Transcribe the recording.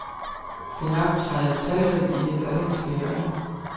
Den optræder talrigt i det lollandske hjørne.